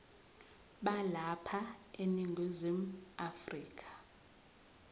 balapha eningizimu afrika